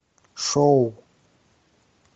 шоу